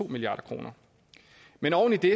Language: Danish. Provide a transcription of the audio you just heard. milliard kroner men oven i det